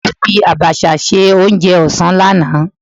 Ẹ̀gbọ́n mi fi Àbàshà ṣe oúnjẹ ọ̀sán lánàá.